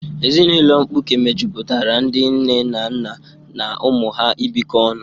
Ezinụlọ mkpuke mejupụtara ndị nne na nna na ụmụ ha ibikọ ọnụ.